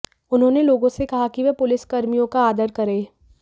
उन्होंने लोगों से कहा कि वे पुलिसकर्मियों का आदर करें